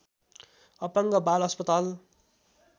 अपाङ्ग बाल अस्पताल